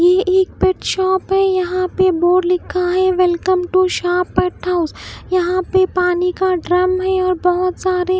ये एक pet shop है यहाँ पे बोर्ड लिखा है वेलकम टू शारपट हाउस यहाँ पे पानी का ड्रम है और बहुत सारे --